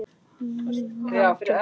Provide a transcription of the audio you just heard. Njóttu þín á grænni grund.